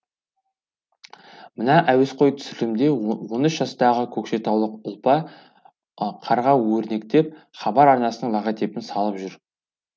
мына әуесқой түсірілімде он үш жастағы көкшетаулық ұлпа қарға өрнектеп хабар арнасының логотипін салып жүр